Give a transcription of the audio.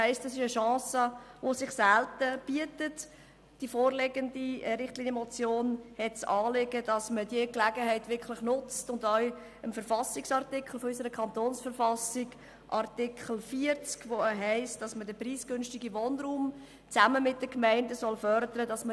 Eine solche Chance bietet sich selten, und die vorliegende Richtlinienmotion hat das Anliegen, dass man diese Gelegenheit wirklich nutzt und damit auch Artikel 40 unserer Verfassung des Kantons Bern (KV) umsetzt, wonach man preisgünstigen Wohnraum zusammen mit den Gemeinden fördern soll.